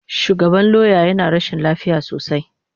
Shugaban lauya yana rashin lafiya sosai.